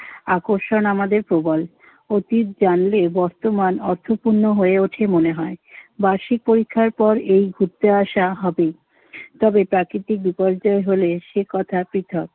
আকর্ষণ আমাদের প্রবল। অতীত জানলে বর্তমান অর্থপূর্ণ হয়ে ওঠে মনে হয়। বার্ষিক পরীক্ষার পর এই ঘুরতে আসা হবেই। তবে প্রাকৃতিক বিপর্যয় হলে সে কথা পৃথক